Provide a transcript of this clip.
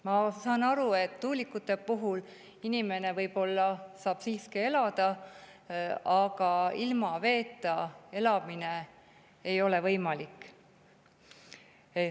Ma saan aru, et tuulikute puhul inimene võib-olla saab siiski elada, aga ilma veeta elamine ei ole võimalik.